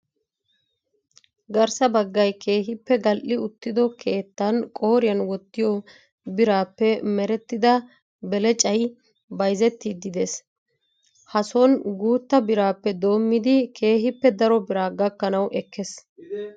garssa baggayi keehippe gal''i uttido keettan qooriyan wottiyoo biraappe merettida belecayi bayizzettiiddi des. Ha son guutta birappe doommidi keehippe daro biraa gakkanawu ekkes.